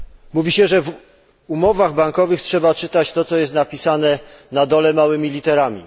Mówi się, że w umowach bankowych trzeba czytać to, co jest napisane na dole małymi literami.